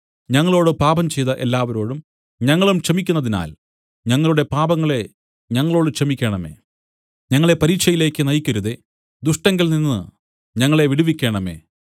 ഞങ്ങളോട് പാപം ചെയ്ത എല്ലാവരോടും ഞങ്ങളും ക്ഷമിക്കുന്നതിനാൽ ഞങ്ങളുടെ പാപങ്ങളെ ഞങ്ങളോടു ക്ഷമിക്കേണമേ ഞങ്ങളെ പരീക്ഷയിലേക്ക് നയിക്കരുതേ ദുഷ്ടങ്കൽനിന്ന് ഞങ്ങളെ വിടുവിക്കേണമേ